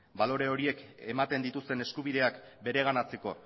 balore horiek ematen dituzten eskubideak bereganatzeko